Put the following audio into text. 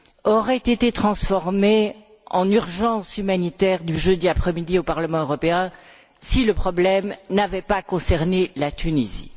auraient été transformés en urgence humanitaire du jeudi après midi au Parlement européen si le problème n'avait pas concerné la Tunisie.